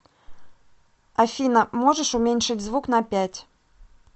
афина можешь уменьшить звук на пять